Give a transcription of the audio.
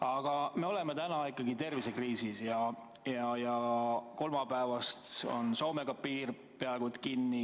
Aga me oleme täna ikkagi tervisekriisis ja kolmapäevast on piir Soomega peaaegu kinni.